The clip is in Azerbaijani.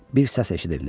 Bir səs eşidildi.